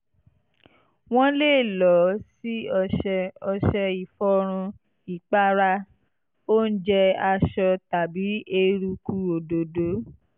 wọ́n lè lò ó sí ọṣẹ ọṣẹ ìfọrun ìpara oúnjẹ aṣọ tàbí eruku òdòdó